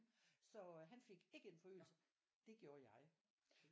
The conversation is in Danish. Så øh han fik ikke en forøgelse. Det gjorde jeg